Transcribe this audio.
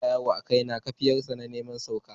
Sauro ya yana ta yawo a kaina, kaifiyar sa na neman wurin sauka.